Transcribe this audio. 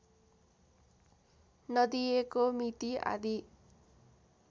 नदिएको मिति आदि